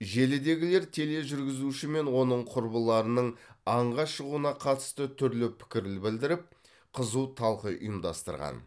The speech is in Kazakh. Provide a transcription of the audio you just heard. желідегілер тележүргізуші мен оның құрбыларының аңға шығуына қатысты түрлі пікір ль білдіріп қызу талқы ұйымдастырған